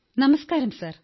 നമസ്കാരം സർ